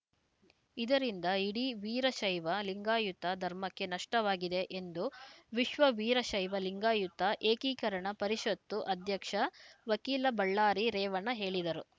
ಇದರಿಂದ ಇಡೀ ವೀರಶೈವ ಲಿಂಗಾಯತ ಧರ್ಮಕ್ಕೆ ನಷ್ಟವಾಗಿದೆ ಎಂದು ವಿಶ್ವ ವೀರಶೈವ ಲಿಂಗಾಯುತ ಏಕೀಕರಣ ಪರಿಷತ್ತು ಅಧ್ಯಕ್ಷ ವಕೀಲ ಬಳ್ಳಾರಿ ರೇವಣ್ಣ ಹೇಳಿದರು